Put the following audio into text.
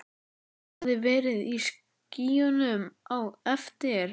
Hann hafði verið í skýjunum á eftir.